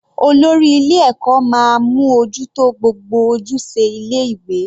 Olórí ilé ẹ̀kọ́ máa mú ojú tó gbogbo ojúṣe ilé ìwé.